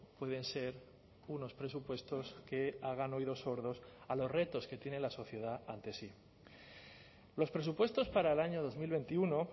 pueden ser unos presupuestos que hagan oídos sordos a los retos que tiene la sociedad ante sí los presupuestos para el año dos mil veintiuno